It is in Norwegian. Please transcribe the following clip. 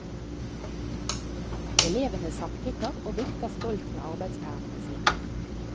Elevene samtykker og vifter stolt med arbeidspermene sine.